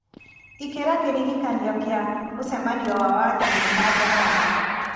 ĩkĩra kĩririkania kĩa mũcemanio wa wakerĩ na njaramba